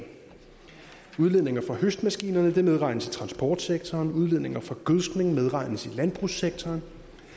udledninger fra høstmaskinerne medregnes i transportsektoren udledninger fra gødskning medregnes i landbrugssektoren